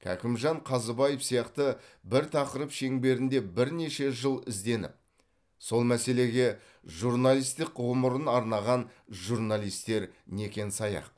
кәкімжан қазыбаев сияқты бір тақырып шеңберінде бірнеше жыл ізденіп сол мәселеге журналистік ғұмырын арнаған журналистер некен саяқ